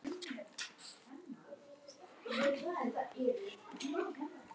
Lilli benti í þá átt.